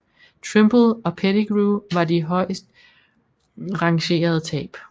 Trimble og Pettigrew var de højestrangerende tab